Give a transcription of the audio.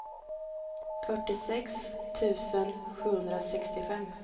fyrtiosex tusen sjuhundrasextiofem